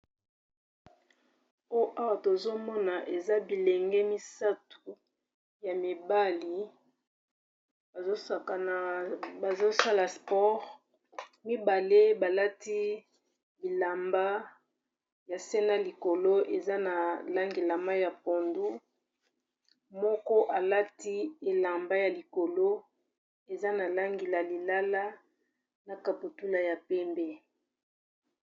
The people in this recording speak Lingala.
Awa tozomona eza bilenge misatu ya mibali bazo sala sport mibale balati bilamba ya se na likolo eza na langi la mayi ya pondu moko alati elamba ya likolo eza na langi la lilala na kaputula ya pembe.